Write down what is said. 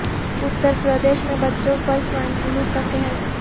اتر پردیش میں بچوں پر سوائن فلو کا قہر